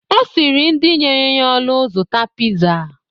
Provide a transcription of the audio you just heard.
Osiri nid nyere ya olu zuta pizza